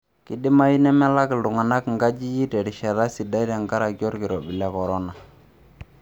Keidimayu nemelak iltung'anak nkajijik terishat sidai tenkaraki olkirobi le korona.